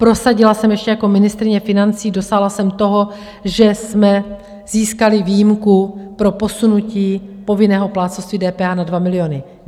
Prosadila jsem ještě jako ministryně financí, dosáhla jsem toho, že jsme získali výjimku pro posunutí povinného plátcovství DPH na 2 miliony.